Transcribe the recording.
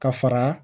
Ka fara